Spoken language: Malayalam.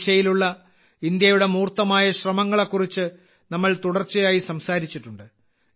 ഈ ദിശയിലുള്ള ഇന്ത്യയുടെ മൂർത്തമായ ശ്രമങ്ങളെക്കുറിച്ച് നമ്മൾ തുടർച്ചയായി സംസാരിച്ചിട്ടുണ്ട്